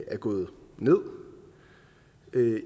er gået ned